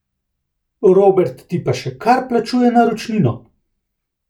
Robert ti pa še kar plačuje naročnino!